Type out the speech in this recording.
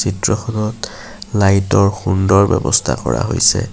চিত্ৰখনত লাইট ৰ সুন্দৰ ব্যৱস্থা কৰা হৈছে।